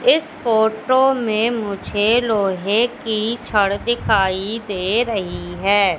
इस फोटो में मुझे लोहे की छड़ दिखाई दे रही है।